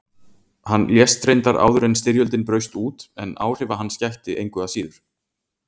Hann lést reyndar áður en styrjöldin braust út en áhrifa hans gætti engu að síður.